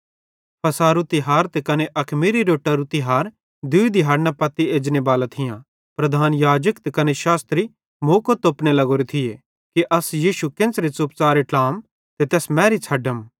फ़सहेरू तिहार त कने अखमीरी रोट्टारू तिहार दूई दिहाड़न पत्ती एजनेबालां थियां प्रधान याजक त कने शास्त्री मौको तोपने लग्गोरे थिये कि अस यीशु केन्च़रां च़ुपचारे ट्लाम ते तैस मैरी छ़ड्डम